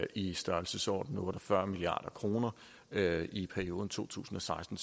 i størrelsesordenen otte og fyrre milliard kroner i perioden to tusind og seksten